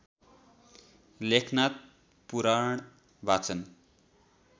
लेखनाथ पुराण वाचन